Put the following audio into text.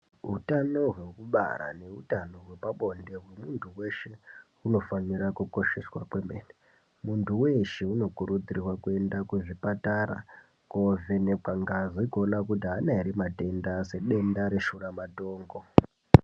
Hutano hwekubara nehutano hwepabonde, hwemuntu weshe hunofanira kukosheswa kwemene. Muntu weshe unokurudzirwa kuenda kuchipatara koovenekwa ngazi kuonekwa kuti haana ere matenda, sedenda reshuramatongo.